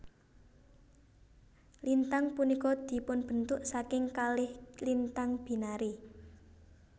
Lintang punika dipunbentuk saking kalih lintang binary